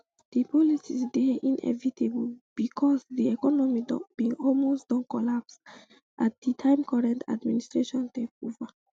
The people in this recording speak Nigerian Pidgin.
di policies dey inevitable becos di economy bin almost don collapse at di time current administration take over